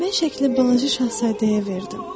Mən şəkli balaca şahzadəyə verdim.